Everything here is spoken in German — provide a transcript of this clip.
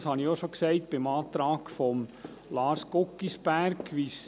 Das habe ich bereits anlässlich des Antrags von Lars Guggisberg gesagt.